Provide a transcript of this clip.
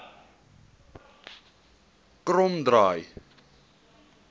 kromdraai